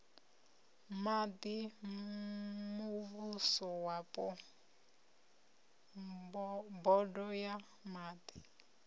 maḓi muvhusowapo bodo ya maḓi